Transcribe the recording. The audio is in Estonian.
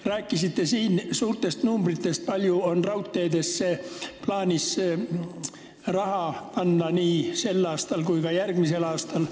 Te rääkisite siin suurtest arvudest, kui palju on raudteesse plaanis raha panna nii sel kui ka järgmisel aastal.